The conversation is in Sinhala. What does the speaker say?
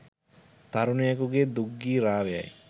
තරුණයකුගේ දුක් ගී රාවයයි